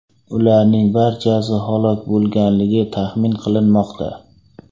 Ularning barchasi halok bo‘lganligi taxmin qilinmoqda.